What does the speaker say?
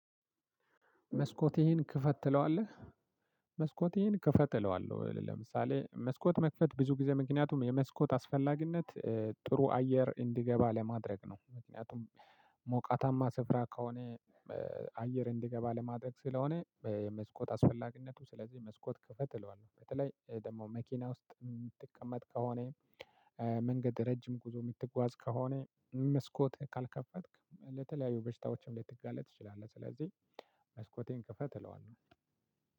መስኮትህን ክፈት ትለዋለህ። መስኮቴን ክፈት እለዋለህ ለምሳሌ መስኮት መክፈት ብዙ ጊዜ ምክንያቱም የመስኮት አስፈላጊነት ጥሩ አየር እንዲገባ ለማድረግ ነው። ምክንያቱም ሞቃታማ ስፍራ ከሆነ አየር እንዲገባ ለማድረግ ስለሆነ። መስኮት አስፈላጊነቱ ስለዚህ መስኮት ክፈት እለዋለሁ። በተለይ ደግሞ መኪና ውስጥ የምትቀመጥ ከሆነ መንገድ ረጅም ጉዞ የምትጓዝ ከሆነ መስኮት ካልከፈትክ ለተለያዩ በሽታዎችም ልትጋለጥ ትችላለህ። ስለዚህ መስኮቴን ክፈት እለዋለሁ።